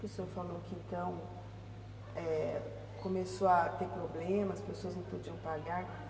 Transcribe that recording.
Que o senhor falou que então, é, começou a ter problemas, as pessoas não podiam pagar.